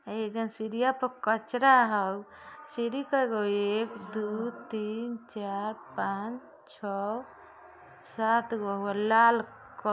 सीढ़ियों पर कचड़ा है | सीढ़ी केगो एक दो तीन चार पाँच छह और सात गो एगो लाल क--